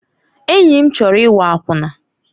Enyi m chọrọ ịghọ akwụna.